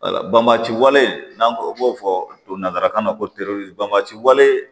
Wala bɔnbati wale n'an ko b'o fɔ nanzarakan na ko banbati wale